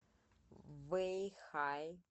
вэйхай